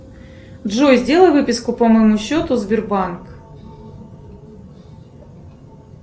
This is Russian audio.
джой сделай выписку по моему счету сбербанк